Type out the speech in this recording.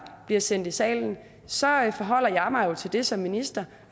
bliver sendt i salen salen forholder jeg mig jo til det som minister